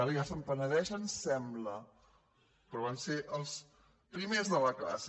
ara ja se’n penedeixen sembla però van ser els primers de la classe